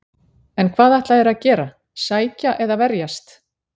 En hvað ætla þeir að gera, sækja eða verjast?